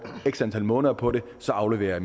x antal måneder på det så afleverer